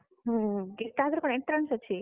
ହୁଁ ତା ପରେ କଣ entrance ଅଛି?